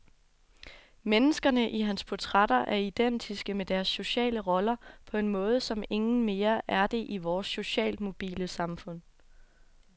Menneskerne i hans portrætter er identiske med deres sociale roller på en måde, som ingen mere er det i vores socialt mobile samfund.